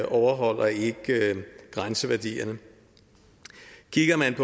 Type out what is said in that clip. overholder ikke grænseværdierne kigger man